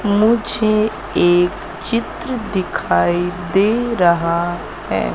मुझे एक चित्र दिखाई दे रहा है।